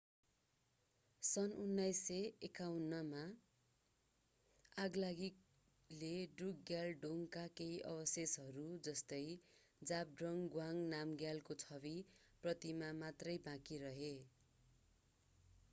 सन् 1951 मा आगलागीले ड्रुकग्याल डोङका केही अवशेषहरू जस्तै जाब्ड्रङ गवांग नामग्यालको छवि प्रतिमा मात्रै बाँकी रहे